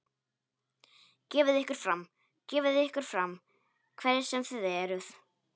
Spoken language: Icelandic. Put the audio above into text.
Gefið ykkur fram, gefið ykkur fram, hverjir sem þið eruð.